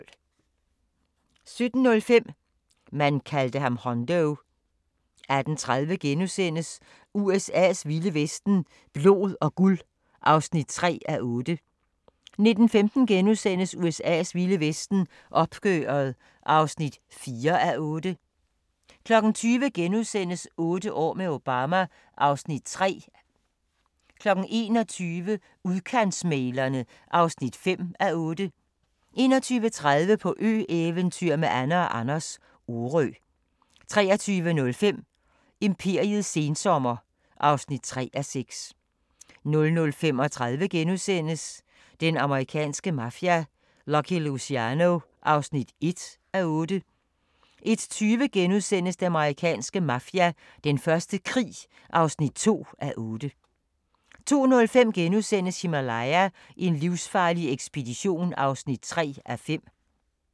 17:05: ... man kaldte ham Hondo 18:30: USA's vilde vesten: Blod og guld (3:8)* 19:15: USA's vilde vesten: Opgøret (4:8)* 20:00: Otte år med Obama (Afs. 3)* 21:00: Udkantsmæglerne (5:8) 21:30: På ø-eventyr med Anne & Anders – Orø 23:05: Imperiets sensommer (3:6) 00:35: Den amerikanske mafia: Lucky Luciano (1:8)* 01:20: Den amerikanske mafia: Den første krig (2:8)* 02:05: Himalaya: en livsfarlig ekspedition (3:5)*